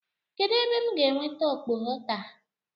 Kedụ ebe m ga-enweta okpogho taa?